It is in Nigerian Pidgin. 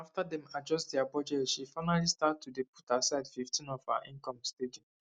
after dem adjust dia budget she finally start to dey put aside fif ten of her income steady